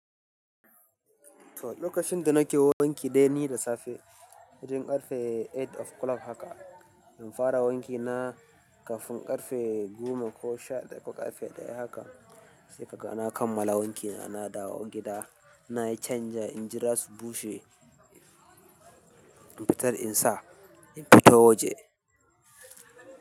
To lokacin da nake wanki dai ni da safe wajen ƙarfe takwas o clock haka infara wanki na kafin ƙarfe biyune ko sha ɗaya ko ƙarfe ɗaya haka sai kaga na kammala wankina na dawo gida, na canja, in jira su bushe in fitar in sa, in fito waje.